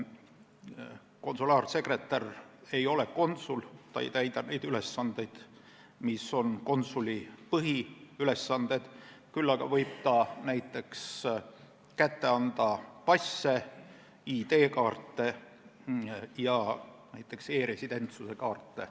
Konsulaarsekretär ei ole konsul, ta ei täida konsuli põhiülesandeid, küll aga võib ta näiteks kätte anda passe, ID-kaarte ja e-residentsuse kaarte.